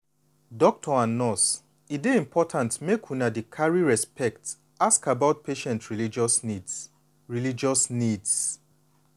doctor and nurse e dey important make una dey carry respect ask about patient religious needs. religious needs.